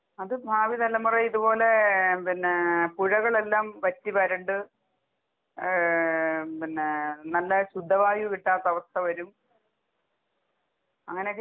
അത് ഭാവി തലമുറയെ ഇതുപോലെ പിന്നേ പുഴകളെല്ലാം വറ്റി വരണ്ട് ഏഹ് പിന്നെ നല്ല ശുദ്ധവായു കിട്ടാത്ത അവസ്ഥ വരും, അങ്ങനെ